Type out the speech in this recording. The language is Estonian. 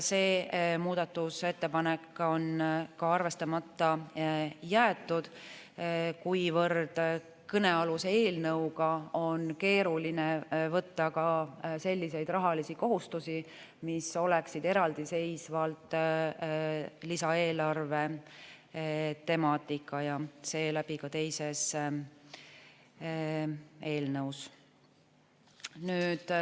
See muudatusettepanek on arvestamata jäetud, kuivõrd kõnealuse eelnõuga on keeruline võtta selliseid rahalisi kohustusi, mis oleksid eraldiseisvalt lisaeelarve temaatika ja seeläbi ka teises eelnõus.